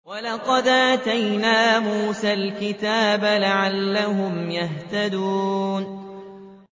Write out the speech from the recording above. وَلَقَدْ آتَيْنَا مُوسَى الْكِتَابَ لَعَلَّهُمْ يَهْتَدُونَ